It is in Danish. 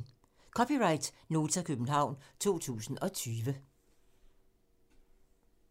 (c) Nota, København 2020